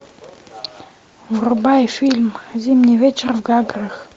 врубай фильм зимний вечер в гаграх